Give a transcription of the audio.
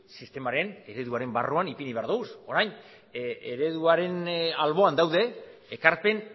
sistemaren ereduaren barruan ipini behar ditugu orain ereduaren alboan daude ekarpen